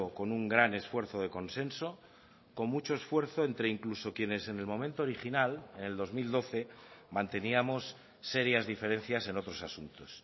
con un gran esfuerzo de consenso con mucho esfuerzo entre incluso quienes en el momento original en el dos mil doce manteníamos serias diferencias en otros asuntos